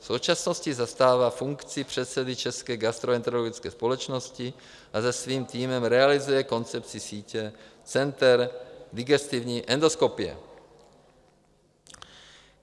V současnosti zastává funkci předsedy České gastroenterologické společnosti a se svým týmem realizuje koncepci sítě center digestivní endoskopie.